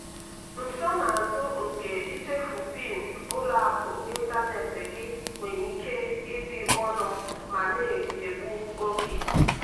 nsonazụ nke ichefu pin ụlọ akụ ịntanetị gị nwere ike ịdị ọnụ ma na-egbu oge.